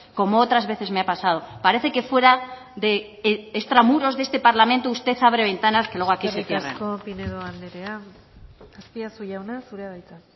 como otras veces me ha pasado parece que fuera de extramuros de este parlamento usted abre ventanas que luego aquí se cierran eskerrik asko pinedo anderea azpiazu jauna zurea da hitza